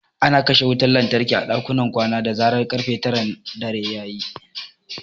Ana kashe wutar lantarki a dakunan kwana da zarar ƙarfe taran dare ta yi.